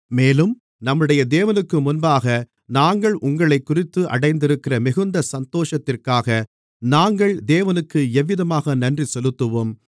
மேலும் நம்முடைய தேவனுக்குமுன்பாக நாங்கள் உங்களைக்குறித்து அடைந்திருக்கிற மிகுந்த சந்தோஷத்திற்காக நாங்கள் தேவனுக்கு எவ்விதமாக நன்றி செலுத்துவோம்